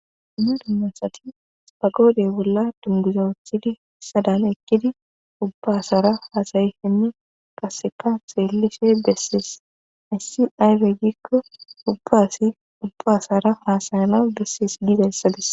Ima dummasati pagoodey bolla dunbuzawochidi sadan ekkidi ubbasara haasayihinne qaseka seellishe bessees issi ayfe giikko ubbaasi ubbasara haasayana bessees diidayssadis